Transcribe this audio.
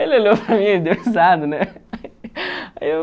Ele olhou para mim e deu risada, né? Eu...